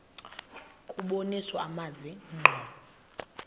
kubonisa amazwi ngqo